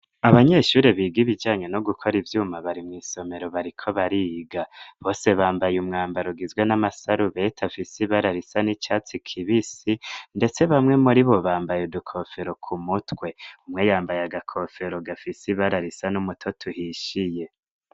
Abanyeshuri biga ibijanye no gukora ivyuma bari mwisomero bariko bariga, bose bambaye umwambaro gizwe n'amasarubeti afisi ibara risa n'icatsi kibisi ndetse bamwe muribo bambaye udukofero kumutwe, umwe yambaye agakofero gafisi ibara risa n'umutoto uhishiye.